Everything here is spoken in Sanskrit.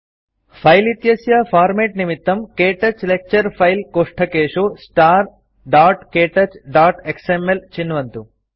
फाइल इत्यस्य फॉर्मेट निमित्तं क्तौच लेक्चर फाइल्स् कोष्ठकेषु starktouchएक्सएमएल चिन्वन्तु